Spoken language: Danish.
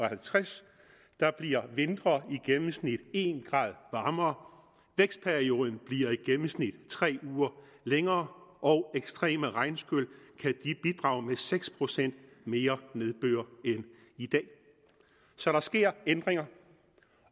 halvtreds bliver vintre i gennemsnit en grad varmere og vækstperioden i gennemsnit tre uger længere og ekstreme regnskyl kan bidrage med seks procent mere nedbør end i dag så der sker ændringer